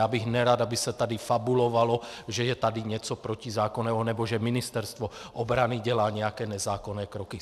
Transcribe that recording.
Já bych nerad, aby se tady fabulovalo, že je tady něco protizákonného nebo že Ministerstvo obrany dělá nějaké nezákonné kroky.